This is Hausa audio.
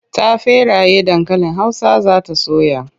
Ta feraye dankalin Hausa za ta soya.